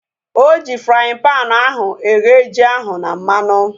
Oji fraaịn panu ahu eghe ji ahu na mmanụ